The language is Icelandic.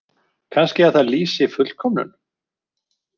Kannski að það lýsi fullkomnun?